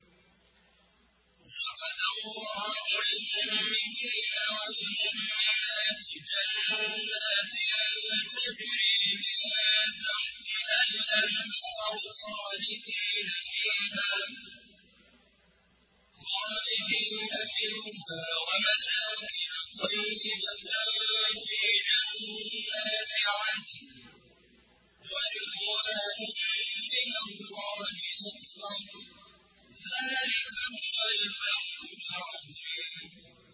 وَعَدَ اللَّهُ الْمُؤْمِنِينَ وَالْمُؤْمِنَاتِ جَنَّاتٍ تَجْرِي مِن تَحْتِهَا الْأَنْهَارُ خَالِدِينَ فِيهَا وَمَسَاكِنَ طَيِّبَةً فِي جَنَّاتِ عَدْنٍ ۚ وَرِضْوَانٌ مِّنَ اللَّهِ أَكْبَرُ ۚ ذَٰلِكَ هُوَ الْفَوْزُ الْعَظِيمُ